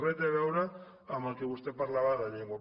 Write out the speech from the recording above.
res té a veure amb el que vostè parlava de llengua